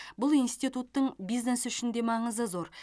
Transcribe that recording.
бұл институттың бизнес үшін де маңызы зор